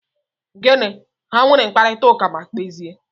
Gịnị! Ha nwere mkparita ụka ma kpezie?